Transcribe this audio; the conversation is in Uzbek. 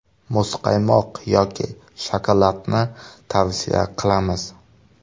Muzqaymoq yoki shokoladni tavsiya qilamiz.